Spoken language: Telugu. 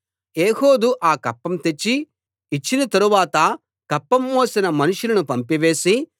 ఏహూదు ఆ కప్పం తెచ్చి ఇచ్చిన తరువాత కప్పం మోసిన మనుషులను పంపివేసి